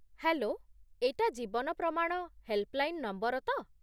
Hello! ଏଇଟା 'Jeevan Pramaan' helpline number ତ?